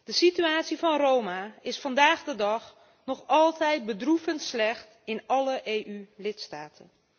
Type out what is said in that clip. De situatie van Roma is vandaag de dag nog altijd bedroevend slecht in alle EU lidstaten.